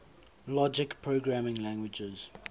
logic programming languages